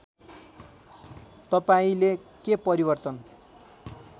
तपाईँंले के परिवर्तन